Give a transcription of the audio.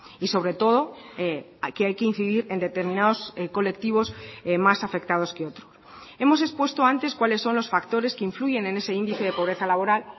y sobre todo aquí hay que incidir en determinados colectivos más afectados que otros hemos expuesto antes cuáles son los factores que influyen en ese índice de pobreza laboral